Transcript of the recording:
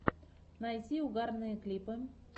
найти угарные клипы